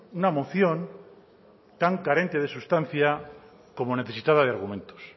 una moción tan carente de sustancia como necesitada de argumentos